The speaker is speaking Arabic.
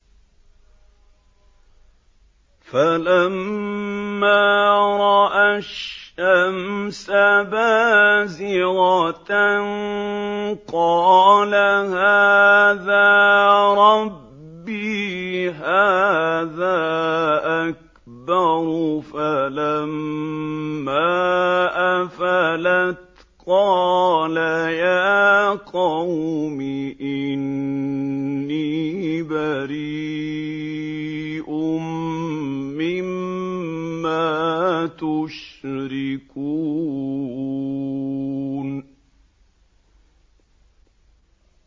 فَلَمَّا رَأَى الشَّمْسَ بَازِغَةً قَالَ هَٰذَا رَبِّي هَٰذَا أَكْبَرُ ۖ فَلَمَّا أَفَلَتْ قَالَ يَا قَوْمِ إِنِّي بَرِيءٌ مِّمَّا تُشْرِكُونَ